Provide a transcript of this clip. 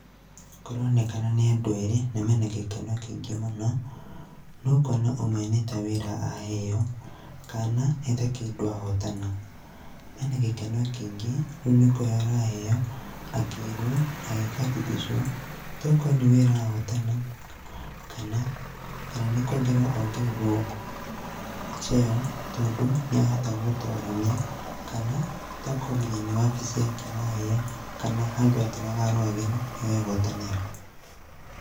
Kũronekana nĩ andũ erĩ na me na gĩkeno kĩingĩ muno. Na ũkona ũmwe nĩ ta wĩra aheo, kana nĩ ta kĩndũ ahotana. Ena gĩkeno kĩingĩ, rĩu nĩ kũheo araheo akĩĩrwo, agĩ karibishwo . Tokorwo nĩ wĩra ahotana, kana nĩ kuongererwo ongererwo cheo tondũ nĩ ahota gũtorania kana tokorwo nginya nĩ wabici yake araneo, kana handũ atũraga arũagĩra no ehotanĩra.